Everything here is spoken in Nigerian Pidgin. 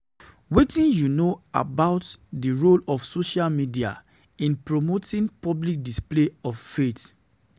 wetin you know about di role of social media in promoting public display of faith?